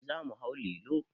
Eh za mu hau lilo.